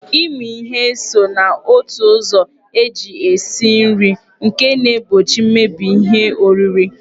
Ịmị ihe so na otu ụzọ eji esi nri nke na-egbochi mmebi ihe oriri.